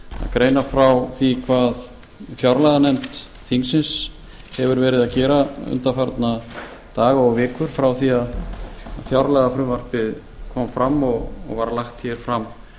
greina frá því hvað fjárlaganefnd þingsins hefur verið að gera undanfarna daga og vikur frá því að fjárlagafrumvarpið kom fram og var lagt hér fram